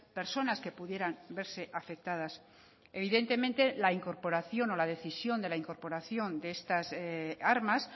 personas que pudieran verse afectadas evidentemente la incorporación o la decisión de la incorporación de estas armas